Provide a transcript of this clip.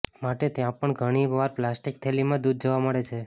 માટે ત્યાં પણ ઘણી વાર પ્લાસ્ટિક થેલીમાં દૂધ જોવા મળે છે